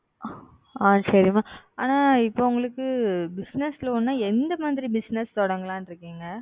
ஆஹ் சரி Mam ஆனால் இப்பொழுது உங்களுக்கு Business Loan என்றால் எந்த மாதிரி Business தொடங்கலாம் என்று இருக்கிறீர்கள்